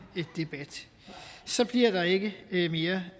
debat så bliver der ikke mere